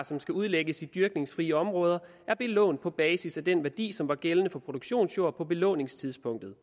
som skal udlægges til dyrkningsfrie områder er belånt på basis af den værdi som var gældende for produktionsjord på belåningstidspunktet